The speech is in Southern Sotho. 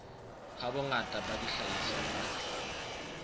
ha bongata ba dihlahiswa tsa